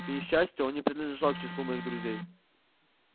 к несчастью он не принадлежал к числу моих друзей